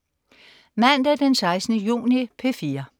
Mandag den 16. juni - P4: